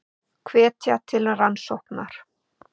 Hvetja til rannsóknar